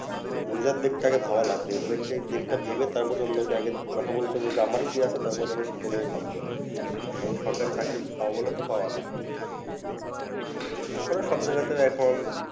নিজের দিকটা আগে ভাবা লাগবে নিজের দিকটা ভেবে তারপরে অন্যকে আগে কথা বলতে বলতে আমার কি আছে তারপর যেন সেটা নিয়ে ভাবতে হয় কারণ সরকারি চাকরি পাবো বললে তো পাবানা তারপরে সব জায়গাতে এখন